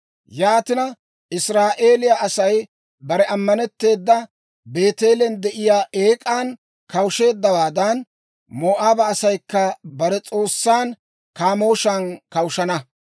Yaatina, Israa'eeliyaa Asay bare ammanetteeda, Beeteelen de'iyaa eek'an kawusheeddawaadan, Moo'aaba asaykka bare s'oossan Kaamooshan kawushshana.